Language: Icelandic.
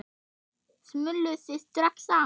Smulluð þið strax saman?